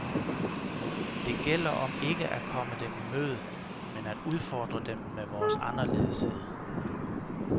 Det gælder om ikke at komme dem i møde, men at udfordre dem med vores anderledeshed.